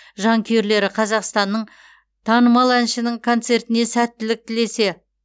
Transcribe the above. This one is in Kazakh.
жанкүйерлері қазақстанның танымал әншінің концертіне сәттілік тілесе